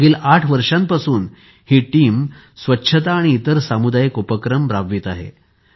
मागील आठ वर्षांपासून हि टीम स्वच्छता आणि इतर सामुदायिक उपक्रम राबवित आहे